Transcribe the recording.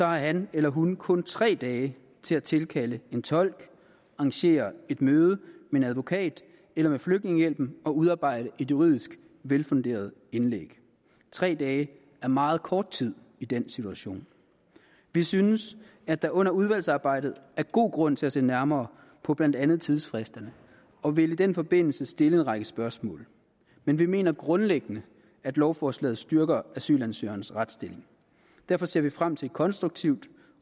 har han eller hun kun tre dage til at tilkalde en tolk arrangere et møde med en advokat eller med flygtningehjælpen og udarbejde et juridisk velfunderet indlæg tre dage er meget kort tid i den situation vi synes at der under udvalgsarbejdet er god grund til at se nærmere på blandt andet tidsfristerne og vil i den forbindelse stille en række spørgsmål men vi mener grundlæggende at lovforslaget styrker asylansøgernes retsstilling derfor ser vi frem til et konstruktivt